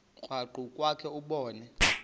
krwaqu kwakhe ubone